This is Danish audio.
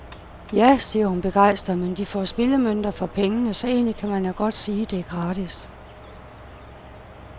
Ja, siger hun begejstret, men de får spillemønter for pengene, så egentlig kan man jo godt sige, det er gratis.